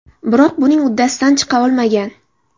Biroq buning uddasidan chiqa olmagan.